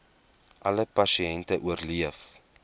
alle pasiënte oorleef